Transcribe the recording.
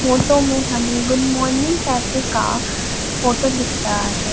Photo में हमें Good Morning Cafe का फोटो दिख रहा है।